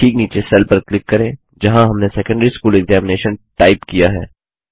cell के ठीक नीचे सेल पर क्लिक करें जहाँ हमने सेकंडरी स्कूल एक्जामिनेशन टाइप किया है